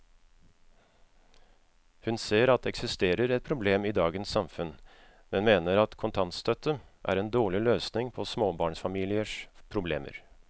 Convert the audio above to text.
Hun ser at det eksisterer et problem i dagens samfunn, men mener at kontantstøtte er en dårlig løsning på småbarnsfamiliers problemer.